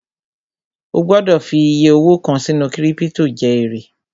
O gbọ́dọ̀ fi iyẹ owó kàn sínú kírípítò jẹ èrè